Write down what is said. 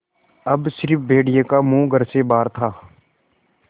अब स़िर्फ भेड़िए का मुँह घर से बाहर था